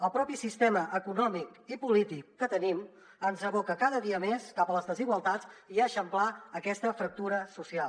el propi sistema econòmic i polític que tenim ens aboca cada dia més cap a les desigualtats i a eixamplar aquesta fractura social